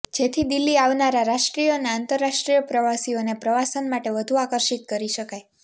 જેથી દિલ્હી આવનારા રાષ્ટ્રીય અને આંતરરાષ્ટ્રીય પ્રવાસીઓને પ્રવાસન માટે વધુ આકર્ષિત કરી શકાય